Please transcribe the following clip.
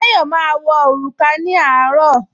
Táyọ̀ máa wọ òrùka ní àárọ̀